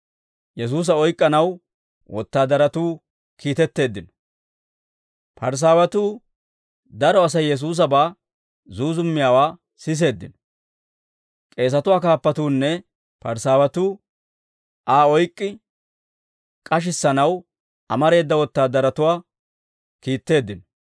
Parisaawatuu daro Asay Yesuusabaa zuuzummiyaawaa siseeddino; k'eesatuwaa kaappatuunne Parisaawatuu Aa oyk'k'i k'ashissanaw amareeda wotaadaratuwaa kiitteeddino.